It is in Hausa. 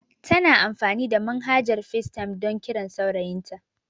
Tana amfani da manhajar FaceTime don kiran saurayin ta